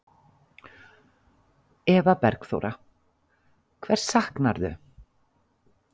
Eva Bergþóra: Hvers saknarðu?